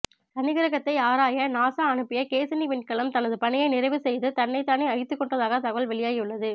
சனிக்கிரகத்தை ஆராய நாசா அனுப்பிய கேஸினி விண்கலம் தனது பணியை நிறைவு செய்து தன்னைதானே அழித்துக்கொண்டதாக தகவல் வெளியாகியுள்ளது